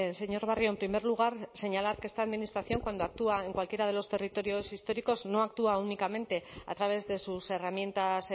señor barrio en primer lugar señalar que esta administración cuando actúa en cualquiera de los territorios históricos no actúa únicamente a través de sus herramientas